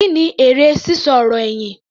Kí ni èrè sísọ ọ̀rọ̀ ẹ̀yìn?